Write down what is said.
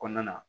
Kɔnɔna na